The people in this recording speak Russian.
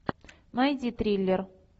найди триллер